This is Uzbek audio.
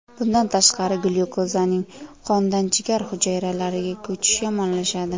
Bundan tashqari glyukozaning qondan jigar hujayralariga ko‘chishi yomonlashadi.